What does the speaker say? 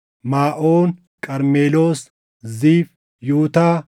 Maaʼoon, Qarmeloos, Ziif, Yutaa,